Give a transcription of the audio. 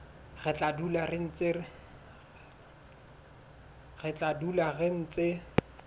re tla dula re ntse